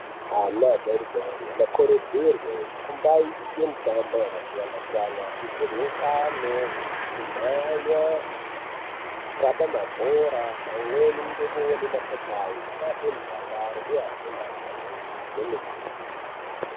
Ana adori dori anokurudzirwe kumbaite mitambo yakasiyana siyana kuitirwe ngano, kumhanya, kukaba mabhora pamweni ngekuone mapopayi. Zvinoape mudakaro uye afunde ari pamweni kwemene.